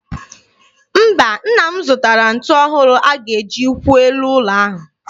Mba, nna m zụtara ntu ọhụrụ a ga-eji kwụọ elu ụlọ ahụ.